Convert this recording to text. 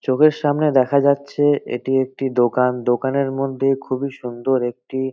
চোখের সামনে দেখা যাচ্ছে এটি একটি দোকান দোকানের মধ্যে খুবই সুন্দর একটি--